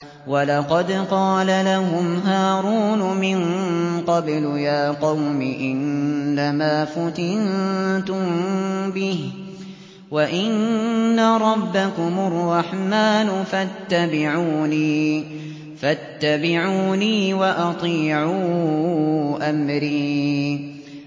وَلَقَدْ قَالَ لَهُمْ هَارُونُ مِن قَبْلُ يَا قَوْمِ إِنَّمَا فُتِنتُم بِهِ ۖ وَإِنَّ رَبَّكُمُ الرَّحْمَٰنُ فَاتَّبِعُونِي وَأَطِيعُوا أَمْرِي